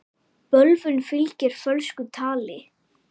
Bölvun fylgir fölsku tali.